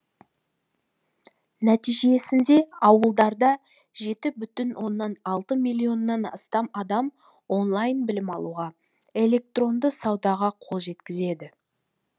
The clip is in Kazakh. нәтижесінде ауылдарда жеті бүтін оннан алты миллионнан астам адам онлайн білім алуға электронды саудаға қол жеткізеді